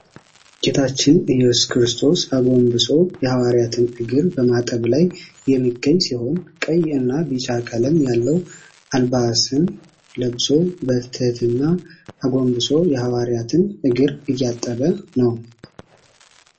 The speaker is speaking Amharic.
ጌታችን እየሱስ ክርስቶስ አጎንብሶ የሃዋርያትን እግር በማጠብ ላይ የሚገኝ ሲሆን ቀይ እና ቢጫ ቀለም ያለው አልባስን ለብሶ በትህትና አጎንብሶ የሃዋርያውን እግር እያጠበ ነው።